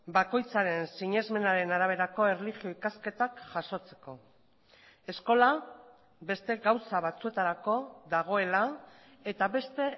bakoitzaren sinesmenaren araberako erlijio ikasketak jasotzeko eskola beste gauza batzuetarako dagoela eta beste